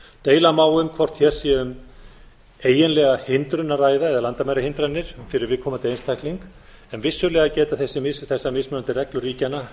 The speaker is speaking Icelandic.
deila má um hvort hér sé um eiginlega hindrun að ræða eða landamærahindranir fyrir viðkomandi einstakling en vissulega geta þessar mismunandi reglur ríkjanna